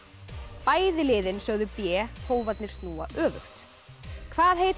bæði liðin sögðu b snúa öfugt hvað heita